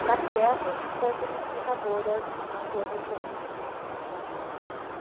para que essas fossem multiplicadoras nas suas regiões.